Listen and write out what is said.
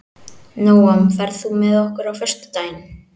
Nóam, ferð þú með okkur á föstudaginn?